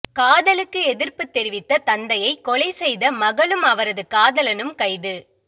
காதலுக்கு எதிர்ப்பு தெரிவித்த தந்தையை கொலை செய்த மகளும் அவரது காதலனும் கைது